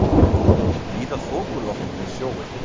Víða þokuloft við sjóinn